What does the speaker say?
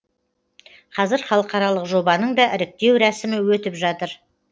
қазір халықаралық жобаның да іріктеу рәсімі өтіп жатыр